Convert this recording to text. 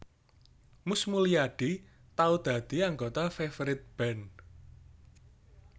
Mus Mulyadi tau dadi anggota Favourite Band